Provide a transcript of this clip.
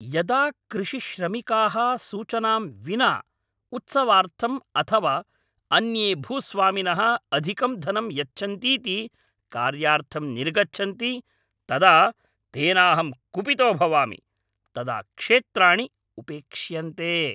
यदा कृषिश्रमिकाः सूचनां विना उत्सवार्थम् अथवा अन्ये भूस्वामिनः अधिकं धनं यच्छन्तीति कार्यार्थं निर्गच्छन्ति, तदा तेनाहं कुपितो भवामि। तदा क्षेत्राणि उपेक्ष्यन्ते।